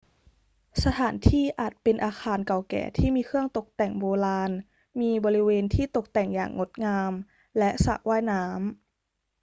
สถานที่อาจเป็นอาคารเก่าแก่ที่มีเครื่องตกแต่งโบราณ มีบริเวณที่ตกแต่งอย่างงดงาม และสระว่ายน้ำ